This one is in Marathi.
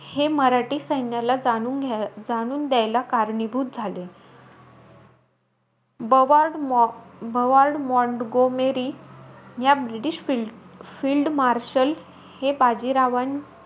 हे मराठी सैन्याला जाणून घ्यायला जाणून द्यायला कारणीभूत झाले. बवार्ड बवार्ड मॉंटगोमेरी या british field marshal हे बाजीरावा,